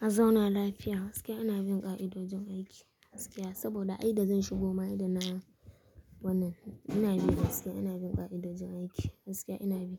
a zauna lafiya gaskiya ina bin ƙa'idojin aiki gaskiya saboda ai da zan shigo ma'ai da na wannan ina bi da gaskiya ina bin ƙa'idojin aiki gaskiya ina bi.